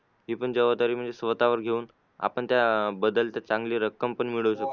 हे पण जबाबदारी म्हणजे स्वतःवर घेऊन आपण त्या बदल्यात चांगली रक्कम पण मिळू शकतो.